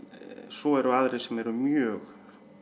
svo eru aðrir sem eru mjög